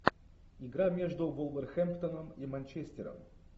игра между вулверхэмптоном и манчестером